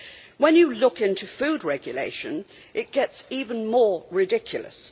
When you look into food regulation, it gets even more ridiculous.